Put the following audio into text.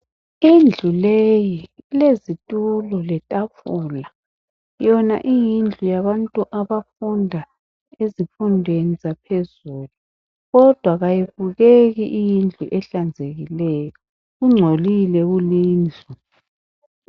Indlu leyi, ilezitulo letafula. Yona iyindlu yabantu abafunda ezifundweni zaphezulu kodwa kayibukeki iyindlu iehlanzekileyo kungcolile kulindlu.